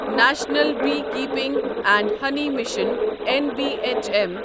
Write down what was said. national beekeeping and honey mission N B H M